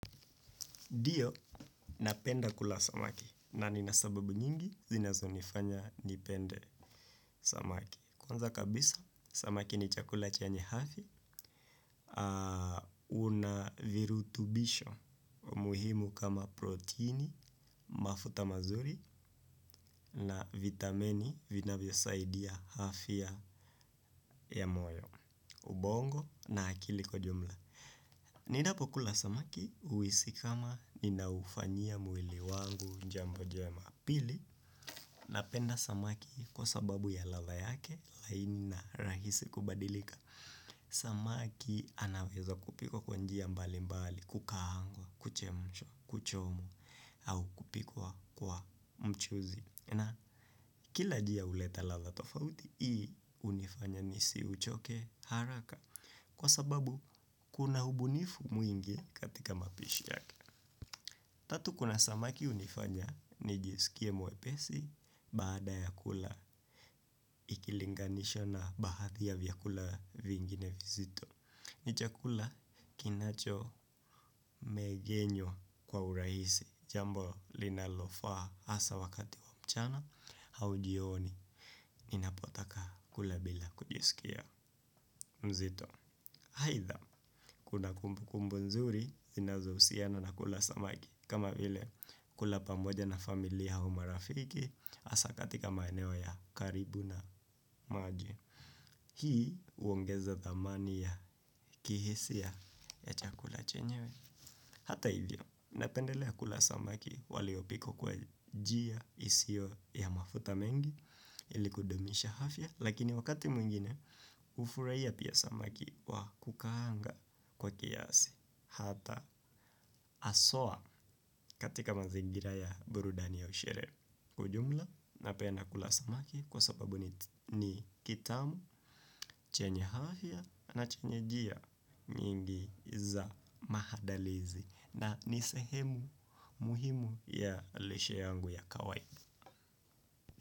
Ndio napenda kula samaki na nina sababu nyingi zinazonifanya nipende samaki. Kwanza kabisa samaki ni chakula chenye hafi. Una virutubisho muhimu kama proteini, mafuta mazuri na vitamini vinavyosaidia afya ya moyo. Ubongo na akili kwa jumla. Ninapokula samaki huhisi kama ninaufanyia mwili wangu jambo jema. Pili, napenda samaki kwa sababu ya ladha yake laini na rahisi kubadilika. Samaki anaweza kupikwa kwa njia mbali mbali, kukaangwa, kuchemshwa, kuchomwa, au kupikwa kwa mchuzi. Na kila jia huleta ladha tofauti, hii hunifanya nisiuchoke haraka. Kwa sababu, kuna ubunifu mwingi katika mapishi yake. Tatu kuna samaki hunifanya nijisikie mwepesi baada ya kula ikilinganishwa na baadhi ya vyakula vingine vizito. Ni chakula kinachomegenywa kwa urahisi jambo linalofaa hasa wakati wa mchana au jioni. Ninapotaka kula bila kujisikia mzito. Aidha kuna kumbukumbu nzuri zinazohusiana na kula samaki. Kama vile kula pamoja na familia au marafiki hasa katika maeneo ya karibu na maji. Hii huongeza dhamani ya kihisia ya chakula chenyewe. Hata hivyo napendelea kula samaki waliopikwa kwa njia isiyo ya mafuta mengi ili kudumisha afya. Lakini wakati mwingine hufurahia pia samaki wa kukaanga kwa kiasi. Hata haswa katika mazingira ya burudani au sherehe. Kwa jumla, napenda kula samaki. Kwa sababu ni kitamu, chenye afya na chenye jia nyingi za maandalizi. Na ni sehemu muhimu ya lishe yangu ya kawai.